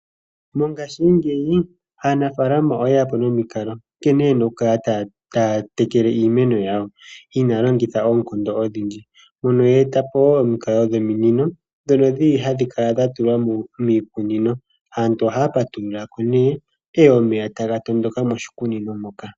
Mongashingeyi aanafalama oye ya po nomikalo nkene yena okukala taya tekele iimeno yawo, inaya longitha oonkondo odhindji. Mono ya eta po wo omikalo dhominino dhono dhi li hadhi kala dha tulwa miikunino. Aantu ohaya patululako nee, omeya taga tondoka moshikunino moka.